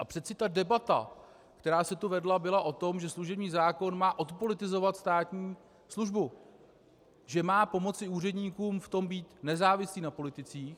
A přece ta debata, která se tu vedla, byla o tom, že služební zákon má odpolitizovat státní službu, že má pomoci úředníkům v tom být nezávislí na politicích.